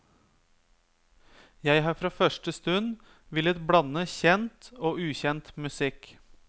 Jeg har fra første stund villet blande kjent og ukjent musikk.